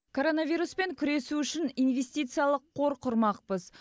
коронавируспен күресу үшін инвестициялық қор құрмақпыз